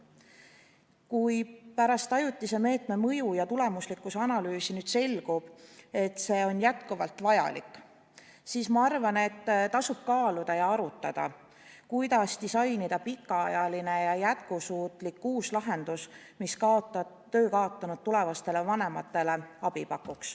Kui pärast ajutise meetme mõju ja tulemuslikkuse analüüsi selgub, et see on jätkuvalt vajalik, siis, ma arvan, tasub kaaluda ja arutada, kuidas disainida pikaajaline ja jätkusuutlik uus lahendus, mis töö kaotanud tulevastele vanematele abi pakuks.